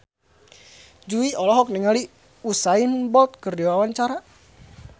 Jui olohok ningali Usain Bolt keur diwawancara